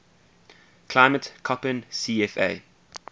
climate koppen cfa